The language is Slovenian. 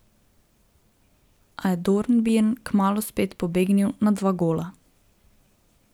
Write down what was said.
A je Dornbirn kmalu spet pobegnil na dva gola.